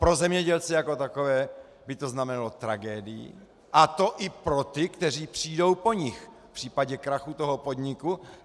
Pro zemědělce jako takové by to znamenalo tragédii, a to i pro ty, kteří přijdou po nich, v případě krachu toho podniku.